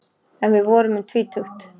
En við vorum um tvítugt.